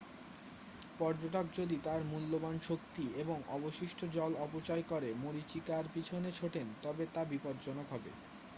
পর্যটক যদি তার মূল্যবান শক্তি এবং অবশিষ্ট জল অপচয় করে মরীচিকার পিছনে ছোটেন তবে তা বিপজ্জনক হবে